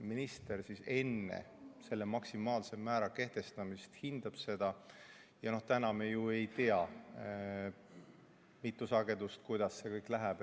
Minister hindab seda enne maksimaalse määra kehtestamist ja noh, täna me ju ei tea, mitu sagedust ja kuidas see kõik läheb.